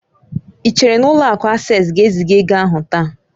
Ị chere na ụlọ akụ Asés ga-eziga ego ahụ taa?